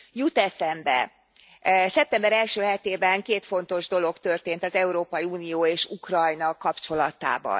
Jut eszembe, szeptember első hetében két fontos dolog történt az Európai Unió és Ukrajna kapcsolatában.